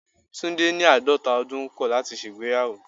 Tunde ní àádọ́ta ọdún kọ̀ láti ṣe ìgbéyàwó.